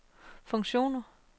funktioner